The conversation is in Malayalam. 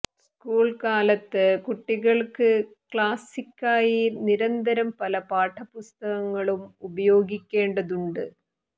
സ്കൂൾ കാലത്ത് കുട്ടികൾക്ക് ക്ലാസിക്കായി നിരന്തരം പല പാഠപുസ്തകങ്ങളും ഉപയോഗിക്കേണ്ടതുണ്ട്